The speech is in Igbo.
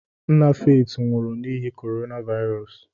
Nna Faith nwụrụ n'ihi Corona Virus.